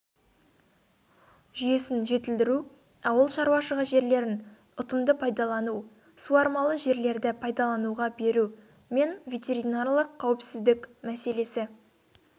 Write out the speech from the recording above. жүйесін жетілдіру ауыл шаруашылығы жерлерін ұтымды пайдалану суармалы жерлерді пайдалануға беру мен ветеринарлық қауіпсіздік мәселесі